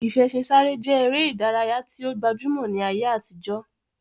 Ìfẹṣinsáré je ere idaraya yi o gbajumo ni aye atijo.